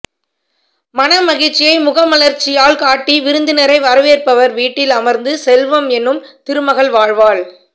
மனமகிழ்ச்சியை முகமலர்ச்சியால் காட்டி விருந்தினரை வரவேற்பவர் வீட்டில் அமர்ந்து செல்வம் எனும் திருமகள் வாழ்வாள்